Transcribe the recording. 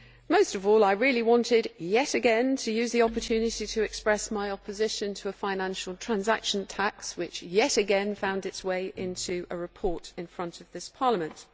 Most of all I really wanted yet again to use the opportunity to express my opposition to a financial transaction tax which yet again found itself way into a report before this Parliament.